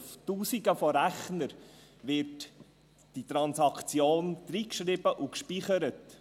– Auf Tausenden von Rechnern wird diese Transaktion eingeschrieben und gespeichert.